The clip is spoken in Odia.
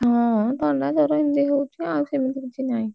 ହଁ ଥଣ୍ଡାଜ୍ୱର ଏମିତି ହଉଛି